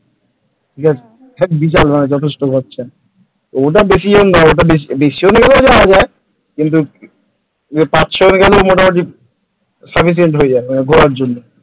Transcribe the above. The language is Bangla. ঠিক আছে, বিশাল মানে যথেষ্ট খরচা ওটা বেশি জন না বেশি জন মিলেও যাওয়া যায় কিন্তুপাঁচ ছ জন গেলেও মোটামুটি sufficient হয়ে যাবে ঘোরার জন্য ।